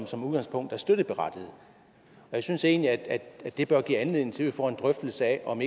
som udgangspunkt er støtteberettigede jeg synes egentlig at det bør give anledning til at vi får en drøftelse af om